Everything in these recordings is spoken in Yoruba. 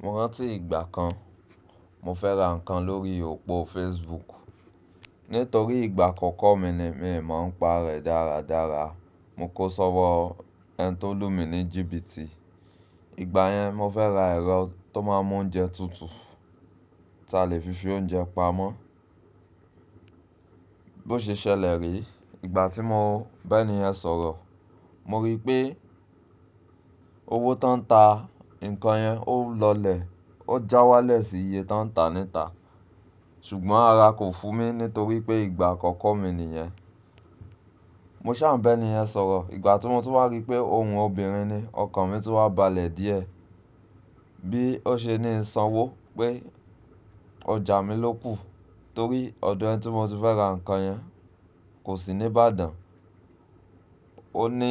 Mo rántí ìgbà kan, mo fẹ́ ra nǹkan lórí òpó Facebook. Nítorí ìgbà àkọ́kọ́ mi ni, mi ò mọ̀ ń pa rẹ̀ dáradára. Mo kó ṣọ́wọ́ ẹni tó lù mí ní jìbìtì. Ìgbà yẹn, mo fẹ́ràn ra ẹrọ to ma n mu oúnjẹ tutu, ti a le fi fi oúnjẹ pamọ́ bí ó ṣe ṣẹlẹ̀ re, ìgbà tí mo ba ẹ́niyẹn sọ̀rọ̀, mo rí pé owó tan ń ta nǹkan yẹn ó lọlẹ̀, ó já wálẹ̀ sí iye tan ń ta níta. Ṣùgbọ́n ara kò fu mi nítorí pé ìgbà àkọ́kọ́ mi niyẹn. Mo ṣà ń ba ẹ́niyẹn sọ̀rọ̀, ìgbà tí mo tun wá rí pé ohùn obìnrin ni. Ọkan mi tun wa balẹ̀ diẹ bí ó ṣe ni n sanwó pé ọjà mi ló kù, torí ọdọ ẹni tí mo ti fẹ́ ra nǹkan yẹn kò sí ní Ìbàdàn. Ó ní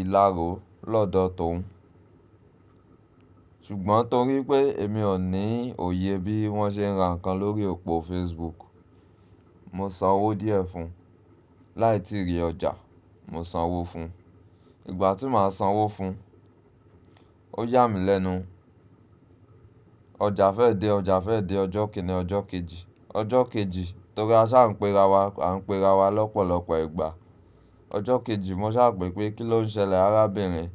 ìlaro lọ́dọ̀ tòun. Ṣùgbọ́n torí pé èmi ò ní òye bí wọ́n ṣe ń ra nǹkan lórí òpó Facebook, mo san owó díẹ̀ fún un. Láì tíì rí ọjà, mo san owó fún un. Ìgbà tí màá san owó fún un, ó yà mí lẹ́nu. Ọjà fẹ́ dé, ọjà fẹ́ dé, ọjọ́ kìn-ín-ní, ọjọ́ kejì. Ọjọ kejì, torí a saa n pa ara wa, a n pe ara wa lọpọlọpọ ìgbà. Ọjọ́ kejì mo sá pè pé kí ló ń ṣẹlẹ̀ arábìnrin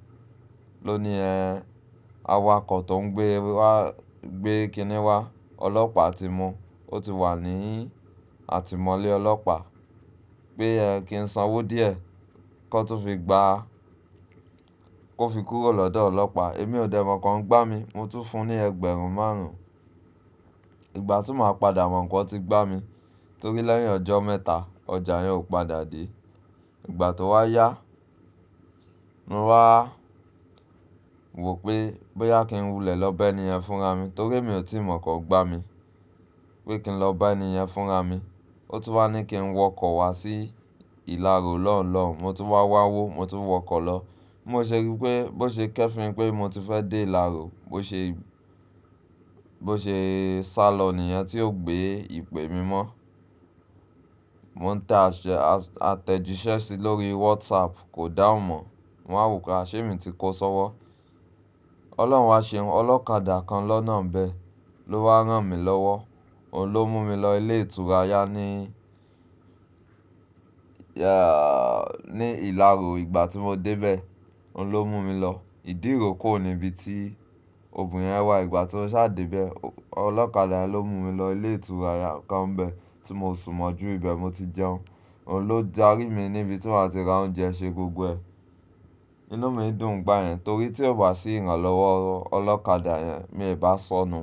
ló ni ẹ́n, awakọ̀ tó ń gbé wá, gbé kiní wá, ọlọ́pàá ti mu, ó ti wà ní atimọ́lẹ̀ ọlọ́pàá. Pé ẹ kí ń san owó díẹ̀ kan tun fi gbá a, kó fi kúrò lọ́dọ̀ ọlọ́pàá. Èmi ò dẹ mọ̀ pe wọn n gbá mi, mo tún ń fún un ní ẹgbẹ̀rún márùn-ún. Ìgbà tí màá padà mọ̀ pe wọn ti gbá mi, torí lẹ́yìn ọjọ́ mẹ́ta ọjà yẹn ò padà dé. Ìgbà tó wá yá, mo wá wò pé, bóyá kí n wulẹ̀ lọ ba ẹ́niyẹn fúnra mi, torí èmi ò tí mọ̀ọ́ pe wọn n gbá mi. Pé kí n lọ bá ènìyẹn fúnra mi. Ó tún wá ní kí n wọkọ̀ wá sí ìlàro lọhunlọhun, mo tún wá wáwó, mo tún wọkọ̀ lọ. Bí mo ṣe rí pé, bó ṣe kẹ́fììn pé mo ti fẹ́ dé ìlàro, bó ṣe, bó ṣe sálọ niyẹn tí ó gbé ìpè mi mọ́. Mo ń tà àtẹ̀jíṣẹ́ sí i lórí WhatsApp kò dáhùn mọ́. Mo wa wo pe a ṣé mi ti kó ṣọ́wọ́. Ọlọ́run wá ṣehun, ọlọ́kadà kan lọ́nà bẹ ló wá rán mi lọ́wọ́. Òun ló mú mi lọ ilé ìtura ya ní, ya, ní ìlàro. Ìgbà tí mo dé bẹ́ẹ̀, òun ló mú mi lọ. Ìdí òrókò ni ibi tí ògùn yẹn wà. Ìgbà tí mo ṣàdé bẹ́ẹ̀, ọlọ́kadà ló mú mi lọ ilé ìtura kan n bẹ́ẹ̀ tí mo sùn mọ́jù ìbẹ̀. Mo ti jẹun. Òun ló dárí mi níbi tí wọ́n ti ra oúnjẹ ṣe gbogbo ẹ. Inú mi dùn n gbá yẹn torí tí ò bá sí ìrànlọ́wọ́ ọlọ́kadà yẹn, mi ò bá sọnù.